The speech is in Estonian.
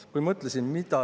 Seadus seda tõesti ei mõjuta.